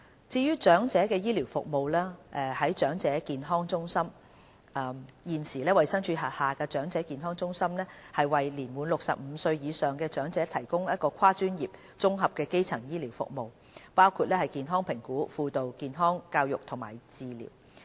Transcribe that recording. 至於長者醫療服務，在長者健康中心方面，現時衞生署轄下的長者健康中心為年滿65歲或以上的長者提供跨專業的綜合基層健康服務，包括健康評估、輔導、健康教育和治療。